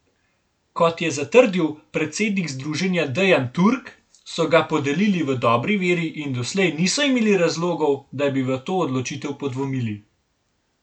Kot je zatrdil predsednik združenja Dejan Turk, so ga podelili v dobri veri in doslej niso imeli razlogov, da bi v to odločitev podvomili.